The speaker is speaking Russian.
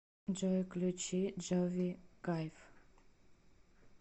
джой включи джови кайф